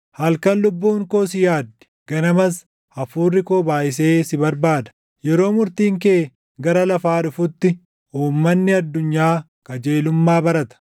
Halkan lubbuun koo si yaaddi; ganamas hafuurri koo baayʼisee si barbaada. Yeroo murtiin kee gara lafaa dhufutti, uummanni addunyaa qajeelummaa barata.